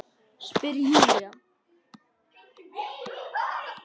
Spyr Júlía.